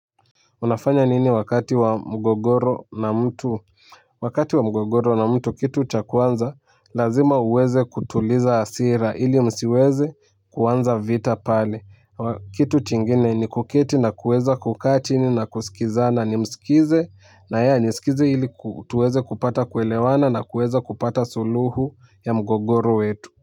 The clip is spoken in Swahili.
Unafanya nini wakati wa mgogoro na mtu? Wakati wa mgogoro na mtu kitu cha kwanza, lazima uweze kutuliza hasira, ili msiweze kuanza vita pale. Kitu chingine ni kuketi na kuweza kukaa chini na kusikizana nimsikize, na yeye anisikize ili tuweze kupata kuelewana na kuweza kupata suluhu ya mgogoro wetu.